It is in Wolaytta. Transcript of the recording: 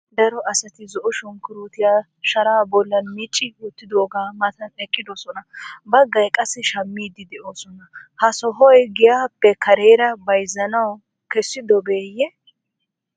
Cora asati zo'o sunkuruutuwa shaara bollan micci wottidoogaa matan eqqidosona. Baggay qassi shammidi de'oosona. Ha sohoy giyaappe kareera bayizzanawu kessidobeeyye?